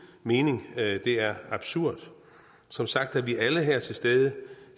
mening det er absurd som sagt er vi alle her til stede